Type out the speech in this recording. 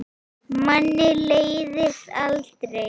Manni leiðist aldrei.